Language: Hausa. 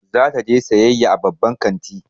Za ta je sayayya a babban kanti.